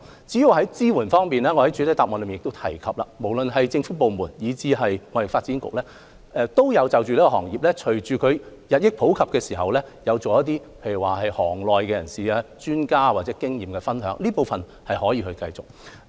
至於支援方面，我在主體答覆亦提及，無論是政府部門以至香港貿易發展局均因應此經營方式日益普及，而舉行業內人士或專家的經驗分享聚會，這方面可繼續推行。